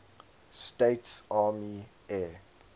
states army air